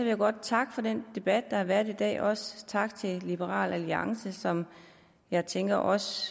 jeg godt takke for den debat der har været i dag og også tak til liberal alliance som jeg tænker også